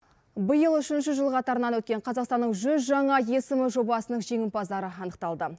биыл үшінші жыл қатарынан өткен қазақстанның жүз жаңа есім жобасының жеңімпаздары анықталды